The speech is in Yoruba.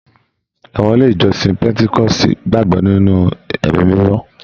Àwọn ilé ìjọsìn petikoosi gbagbọ nínú ẹmí mímọ.